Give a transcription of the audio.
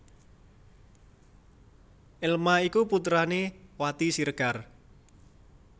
Elma iku putrané Wati Siregar